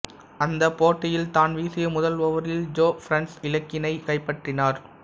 அந்தப் போட்டியில் தான் வீசிய முதல் ஓவரில் ஜோ பர்ன்ஸ் இலக்கினை கைப்பற்றினார்